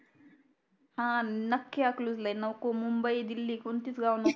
हा नखी आखलूजला ये नको मुंबई दिल्ली कोणतीच गोव नको